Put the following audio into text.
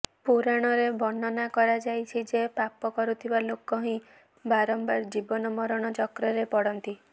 ପୁରାଣରେ ବର୍ଣ୍ଣନା କରାଯାଇଛି ଯେ ପାପ କରୁଥିବା ଲୋକ ହିଁ ବାରମ୍ବାର ଜୀବନ ମରଣ ଚକ୍ରରେ ପଡ଼ନ୍ତି